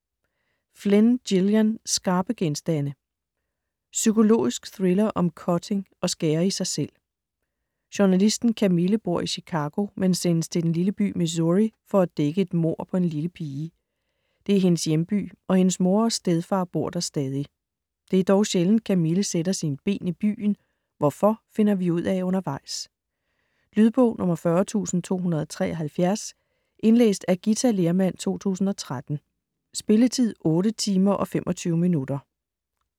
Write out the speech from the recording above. Flynn, Gillian: Skarpe genstande Psykologisk thriller om cutting, at skære i sig selv. Journalisten Camille bor i Chicago, men sendes til den lille by Missouri for at dække et mord på en lille pige. Det er hendes hjemby, og hendes mor og stedfar bor der stadig. Det er dog sjældent Camille sætter sine ben i byen. Hvorfor finder vi ud af undervejs. Lydbog 40273 Indlæst af Githa Lehrmann, 2013. Spilletid: 8 timer, 25 minutter.